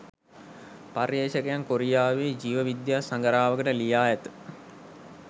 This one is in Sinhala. පර්යේෂකයන් කොරියාවේ ජීව විද්‍යා සඟරාවකට ලියා ඇත